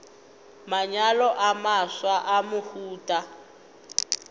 manyalo a mafsa a mohuta